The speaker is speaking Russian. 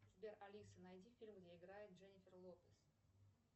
сбер алиса найди фильм где играет дженнифер лопез